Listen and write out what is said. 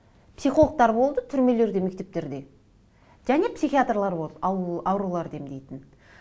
психологтар болды түрмелерде мектептерде және психиаторлар болады ауруларды емдейтін